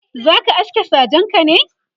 zaka aske sajenka ne?.